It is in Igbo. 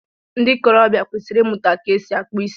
Ndị ikorobia kwesịrị ịmụta ka esi akpụ isi